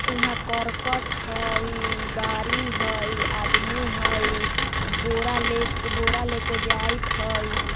इहाँ करकट हई गाड़ी हई आदमी हई बोरा लेकर बोरा लेकर जाइत हई।